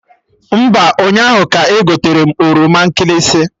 Mba, ụnyaahụ ka egoterem oroma nkịlịsị